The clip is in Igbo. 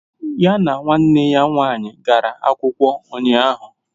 Ya na nwanne ya nwaanyị gara akwụkwọ ụnyahụ